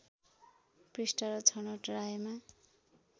पृष्ठ र छनौट रायमा